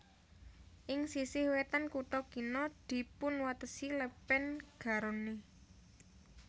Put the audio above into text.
Ing sisih wétan kutha kina dipunwatesi Lèpèn Garonne